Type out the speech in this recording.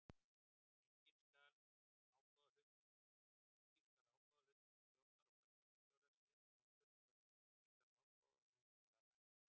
Einnig skal ágóðahluti til stjórnar og framkvæmdastjóra sérgreindur ef um slíkan ágóðahluta var að ræða.